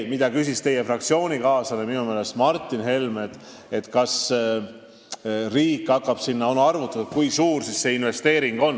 Minu meelest teie fraktsioonikaaslane Martin Helme küsis, kas on arvutatud, kui suur siis see investeering on.